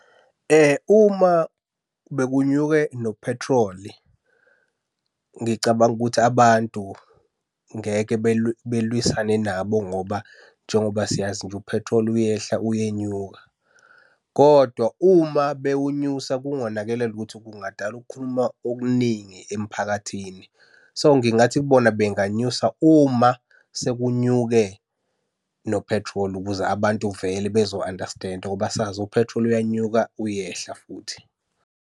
Uma bekunyuke nophethroli, ngicabanga ukuthi abantu ngeke belwisane nabo ngoba njengoba siyazi nje, uphethroli uyehla uyenyuka, kodwa uma bewunyusa kungonakele lutho, kungadala ukukhuluma okuningi emphakathini. So, ngingathi kubona benganyusa uma sekunyuke nophethroli ukuze abantu vele bezo-understand-a ngoba sazi uphethroli uyanyuka uyehla futhi.